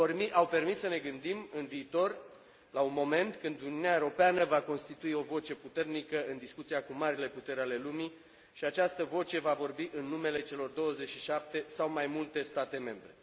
Au permis să ne gândim în viitor, la un moment când Uniunea Europeană va constitui o voce puternică în discuția cu marile puteri ale lumii și această voce va vorbi în numele celor 27, sau mai multe, state membre.